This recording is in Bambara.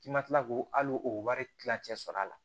K'i ma kila k'o al'o wari kilancɛ sɔrɔ a la